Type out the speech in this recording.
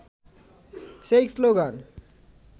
সেই শ্লোগান